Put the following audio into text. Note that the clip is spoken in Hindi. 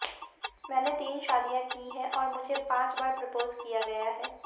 मैंने तीन शादियां की हैं और मुझे पांच बार प्रपोज किया गया है